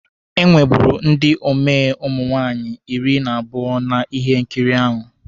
E nweburu ndi omee ụmụ nwaanyị iri na abụọ na ihe nkiri ahụ